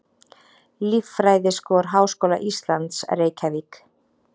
Líffræðiskor Háskóla Íslands, Reykjavík.